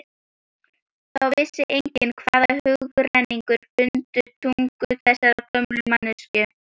Þá vissi enginn hvaða hugrenningar bundu tungu þessarar gömlu manneskju.